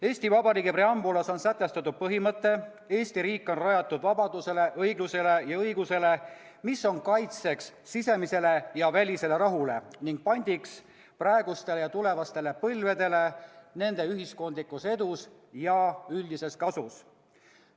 Eesti Vabariigi preambulas on sätestatud põhimõte: Eesti riik on rajatud vabadusele, õiglusele ja õigusele, mis on kaitseks sisemisele ja välisele rahule ning pandiks praegustele ja tulevastele põlvedele nende ühiskondlikus edus ja üldises kasus.